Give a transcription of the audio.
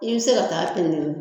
I be se ka taa pɛntiri